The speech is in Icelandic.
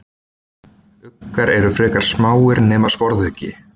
uggar eru frekar smáir nema sporðuggi